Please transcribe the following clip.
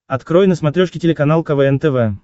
открой на смотрешке телеканал квн тв